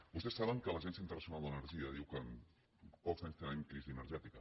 vostès saben que l’agència internacional d’energia diu que en pocs anys tindrem crisi energètica